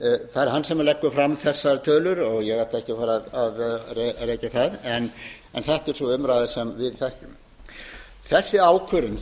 það er hann sem leggur fram þessar tölur og ég ætla ekki að rekja þær en þetta er sú umræða sem við þekkjum þessi ákvörðun